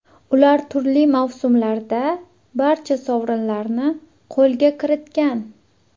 Ular turli mavsumlarda barcha sovrinlarni qo‘lga kiritgan.